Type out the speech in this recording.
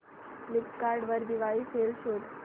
Flipkart वर Diwali sale शोधा